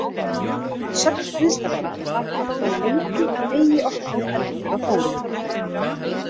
Að sögn viðstaddra var það þó lengi að eigi orkaði eldur á Þórólf.